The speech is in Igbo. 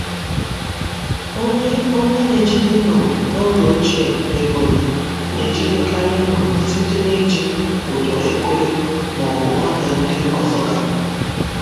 Onye Onye na-ejide nnụnụ n’oge ochie na Ebonyi na-ejidekarị nnụnụ site n’iji ụdọ ekwere ma ọ bụ ọnya ndị ọzọga.